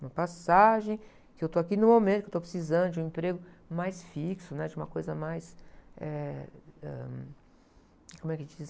Uma passagem que eu estou aqui no momento, que eu estou precisando de um emprego mais fixo, né? De uma coisa mais, eh, ãh... Como é que se diz?